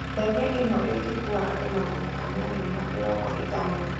Ndege ĩno ĩngikuwa andũ magana anana na mĩrongo ĩtano